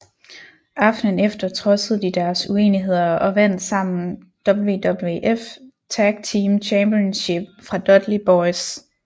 Aftenen efter trodsede de deres uenigheder og vandt sammen WWF Tag Team Championship fra Dudley Boyz